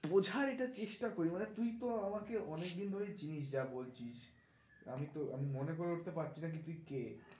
বোঝার এটা চেষ্টা করি মানে তুই তো আমাকে অনেক দিন ধরেই যা বলছিস আমি তো আমি মনে করে উঠতে পারছি না তুই কে